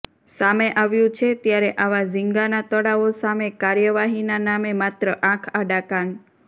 સામે આવ્યુ છે ત્યારે આવા ઝીંગાના તળાવો સામે કાર્યવાહીના નામે માત્ર આંખ આડા કાન